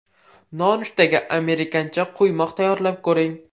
Nonushtaga amerikancha quymoq tayyorlab ko‘ring.